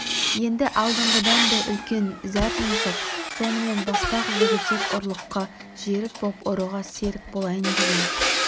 енді алдыңғыдан да үлкен зәр жұмсап сонымен баспақ жігітек ұрлыққа жерік боп ұрыға серік болайын деген